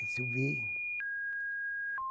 Eu vi.